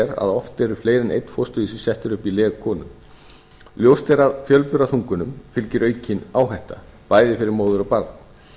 að oft eru fleiri en einn fósturvísir settir upp í leg konu ljóst er að fjölburaþungunum fylgir aukin áhætta bæði fyrir móður og barn